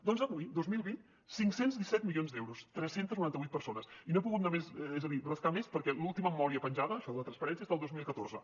doncs avui dos mil vint cinc cents i disset milions d’euros tres cents i noranta vuit persones i no he pogut anar més és a dir rascar més perquè l’última memòria penjada això de la transparència és del dos mil catorze